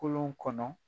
Kolon kɔnɔ